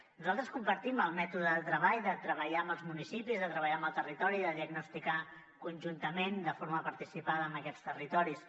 nosaltres compartim el mètode del treball de treballar amb els municipis de treballar amb el territori de diagnosticar conjuntament de forma participada amb aquests territoris